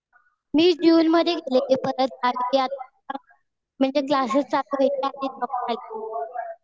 मी जून मध्ये गेले होते परत आजी-आजोबा म्हणजे क्लासेस चालू आहेत ना.